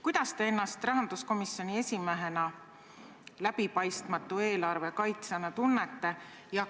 Kuidas te ennast rahanduskomisjoni esimehena läbipaistmatu eelarve kaitsjana tunnete?